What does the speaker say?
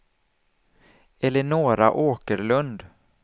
Eleonora Åkerlund